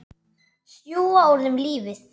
Sjúga úr þeim lífið.